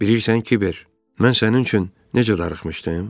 Bilirsən, Kiber, mən sənin üçün necə darıxmışdım?